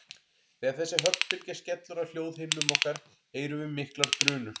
Þegar þessi höggbylgja skellur á hljóðhimnum okkar heyrum við miklar drunur.